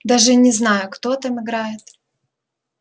даже и не знаю кто там играет